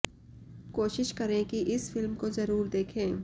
कोशिश करें कि इस फिल्म को जरुर देखें